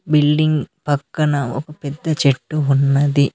Building పక్కన ఒక పెద్ద చెట్టు ఉన్నది.